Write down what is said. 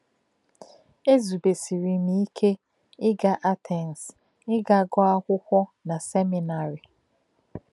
* Ézùbesìrì m íké ịga Atens íga gụọ̀ akwụkwọ na seminarị.